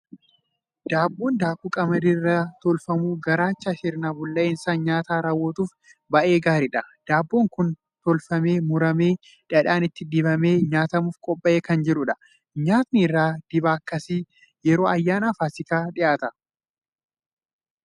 Daabboon daakuu qamadii irraa tolfamu, garaacha sirna bullaa'insa nyaataa raawwatuuf baay'ee gaariidha! Daabboon kun tolfamee, muramee dhadhaan itti dibamee nyaatamuuf qophaa'ee kan jiruudha. Nyaatni irra dibaa akkasii yeroo ayyaana Faasikaa dhiyaataa.